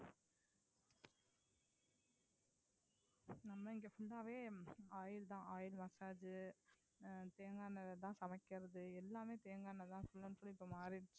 full ஆவே oil தான் oil massage அஹ் தேங்காய் எண்ணெய்லதான் சமைக்கிறது எல்லாமே தேங்காய் எண்ணெய்தான் full and full இப்ப மாறிடுச்சு